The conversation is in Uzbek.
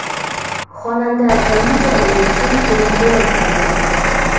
Xonanda Kaniza o‘zi uchun kelin ko‘ylak tanlamoqda .